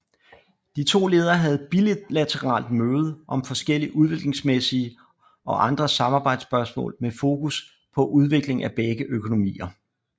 De to ledere havde bilateralt møde om forskellige udviklingsmæssige og andre samarbejdsspørgsmål med fokus på udvikling af begge økonomier